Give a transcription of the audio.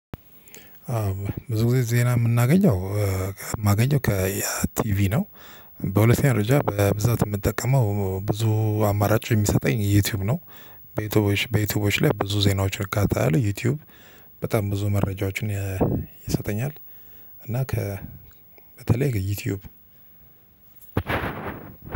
ብዙ ጊዜ ዜና የምናገኘው የማገኘው ከያ ቲቪ ነው በሁለተኛ ደረጃ በብዛት የምጠቀመው ብዙ አማራጭ የሚሰጠኝ ዩቲዩብ ነው። በዩቲዩቦች በዩቲዩቦች ላይ ብዙ ዜናዎች እከታተላለሁ ዩቲዩብ በጣም ብዙ መረጃዎችን ይሰጠኛል። እና ከ በተለይ የዩቲዩብ